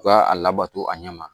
U ka a labato a ɲɛ ma